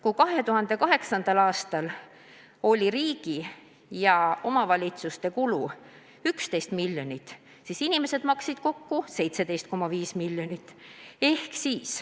Kui 2008. aastal oli riigi ja omavalitsuste kulu selleks 11 miljonit, siis inimesed maksid kokku 17,5 miljonit.